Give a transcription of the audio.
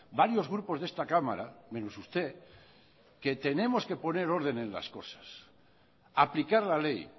varios grupos de esta cámara menos usted que tenemos que poner orden en las cosas aplicar la ley